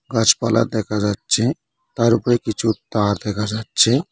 গাছপালা দেখা যাচ্ছে তার উপরে কিছু তার দেখা যাচ্ছে।